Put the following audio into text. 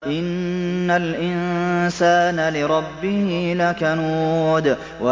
إِنَّ الْإِنسَانَ لِرَبِّهِ لَكَنُودٌ